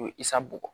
U ye isa bugɔ